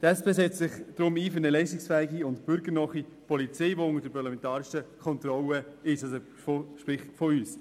Die SP setzt sich deshalb für eine leistungsfähige und bürgernahe Polizei ein, die unter parlamentarischer Kontrolle steht, sprich des Grossen Rats.